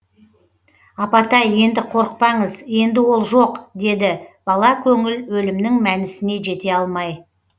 апатай енді қорықпаңыз енді ол жоқ деді бала көңіл өлімнің мәнісіне жете алмай